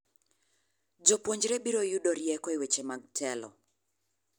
Jopuonjre biro you rieko e weche mag telo.